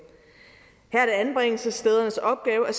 her er det anbringelsesstedernes opgave at